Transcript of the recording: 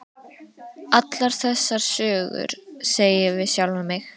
Allar þessar sögur, segi ég við sjálfan mig.